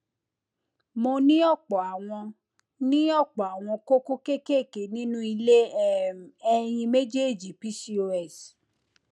mo ní ọpọ àwọn ní ọpọ àwọn kókó kéékèèké nínú ilé um ẹyin méjèèjì pcos